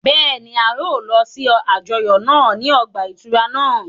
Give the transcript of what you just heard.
Bẹ́ẹ̀ni, a yóò lọ si àjọyọ naa ni ọgba-ìturá naa